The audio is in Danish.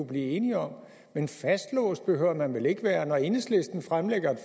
blive enige om men fastlåst behøver man vel ikke være når enhedslisten fremsætter